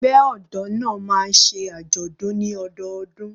Ẹgbẹ́ ọ̀dọ́ náà máa ń ṣe àjọ̀dún ní ọdọọdún.